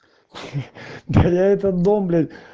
да я этот дом бля